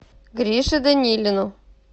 грише данилину